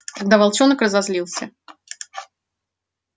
тогда волчонок разозлился